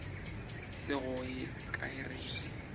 se go ye kae rena